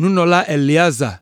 Nunɔla Eleazar,